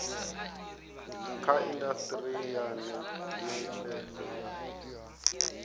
kha indasiteri ya netshedzo ya